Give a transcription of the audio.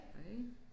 Hej